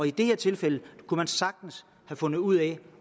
i det her tilfælde kunne man sagtens have fundet ud af